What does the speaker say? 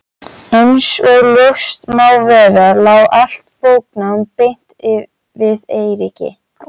Einsog ljóst má vera lá allt bóknám beint við Eiríki.